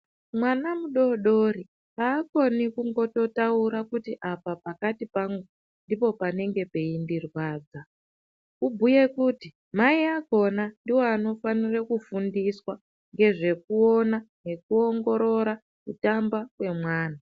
Mwana mudodori hakoni kungototaura kuti apa pakati pangu ndipo panenge peindirwadza. Kubhuye kuti mai akona ndivo anofanire kufundiswa ngezvekuona nekuongorora kutamba kwemwana.